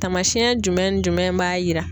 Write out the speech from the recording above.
Tamasiyɛn jumɛn jumɛn b'a yira.